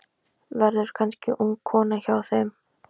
Verður kannski ung kona hjá þeim.